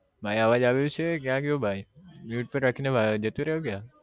ભાઈ અવાજ આવે છે ક્યાં ગયો ભાઈ mute પર રાખી ને જતો રહ્યો ક્યાં